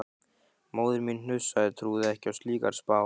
Móðir mín hnussaði, trúði ekki á slíkar spár.